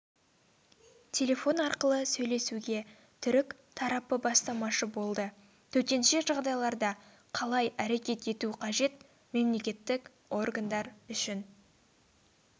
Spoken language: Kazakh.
телефон арқылы сөйлесуге түрік тарапы бастамашы болды төтенше жағдайларда қалай әрекет ету қажет мемлекеттік органдар үшін